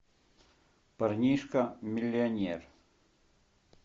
парнишка миллионер